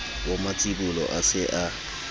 wa matsibolo a se a